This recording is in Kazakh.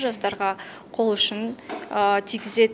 жастарға қол ұшын тигізеді